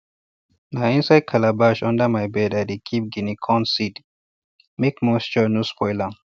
na inside calabash under my bed i dey keep guinea corn seeds make moisture no spoil am